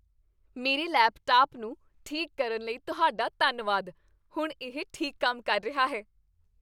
ਮੇਰੇ ਲੈਪਟਾਪ ਨੂੰ ਠੀਕ ਕਰਨ ਲਈ ਤੁਹਾਡਾ ਧੰਨਵਾਦ। ਹੁਣ ਇਹ ਠੀਕ ਕੰਮ ਕਰ ਰਿਹਾ ਹੈ।